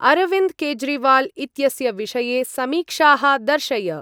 अरविन्द् केज्रीवाल् इत्यस्य विषये समीक्षाः दर्शय।